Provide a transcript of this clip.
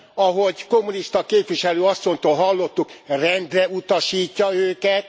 Ahogy kommunista képviselő asszonytól hallottuk, rendreutasítja őket.